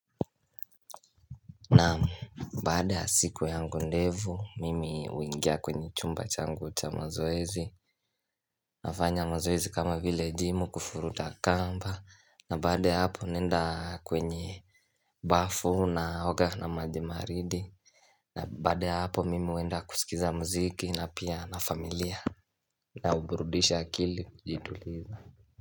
Naam baada ya siku yangu ndevu, mimi huingia kwenye chumba changu cha mazoezi. Nafanya mazoezi kama vile gym, kuvuruta kamba, na baada ya hapo naenda kwenye bafu naoga na maji baridi na baada ya hapo mimi huenda kusikiza mziki na pia na familia na huburudisha akili kujituliza.